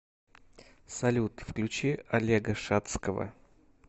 салют включи олега шадского